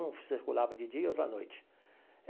Um circulava de dia, outro à noite.